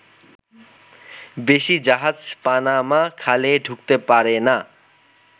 বেশি জাহাজ পানামা খালে ঢুকতে পারে না।